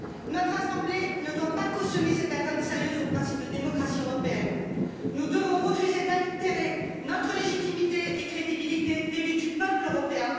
Notre assemblée ne doit pas cautionner cette atteinte sérieuse au principe de démocratie européenne. Nous devons refuser d'altérer notre légitimité et notre crédibilité d'élus du peuple européen.